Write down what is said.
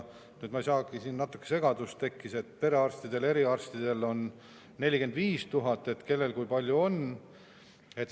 Ma ei saagi aru, natuke nagu segadus tekkis, et perearstidel või eriarstidel on 45 000, et kellel kui palju on.